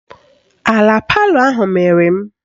Ala palọ ahụ mịrị m